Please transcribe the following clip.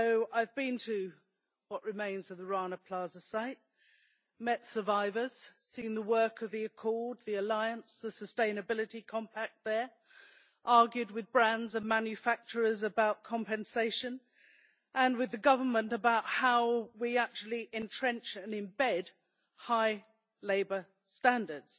I have been to what remains of the Rana Plaza site, met survivors, seen the work of the Accord, the Alliance and the Sustainability Compact there, argued with brands and manufacturers about compensation, and with the Government about how we actually entrench and embed high labour standards.